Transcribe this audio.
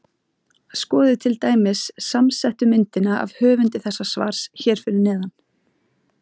Skoðið til dæmis samsettu myndina af höfundi þessa svars hér fyrir neðan.